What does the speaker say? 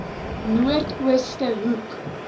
noord ooste hoek